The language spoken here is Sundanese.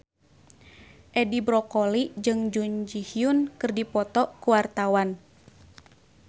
Edi Brokoli jeung Jun Ji Hyun keur dipoto ku wartawan